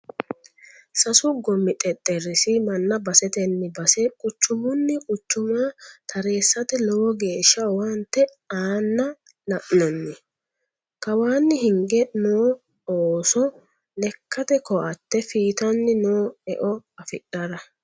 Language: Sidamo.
Sasu gomi xexerisi manna baseteni base quchumuni quchuma taresate lowo geeshsha owaante aana la'nanni, kawani higge no ooso lekkate koatte fiittani no eo affidhara.